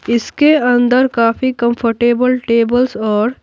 इसके अंदर काफी कंफर्टेबल टेबल्स और--